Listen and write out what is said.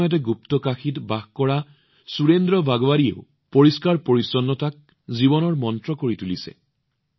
একে সময়তে গুপ্তকাশীত বাস কৰা সুৰেন্দ্ৰ বাগোৱাৰীজীয়েও পৰিষ্কাৰপৰিচ্ছন্নতাক তেওঁৰ জীৱন মন্ত্ৰ কৰি তুলিছে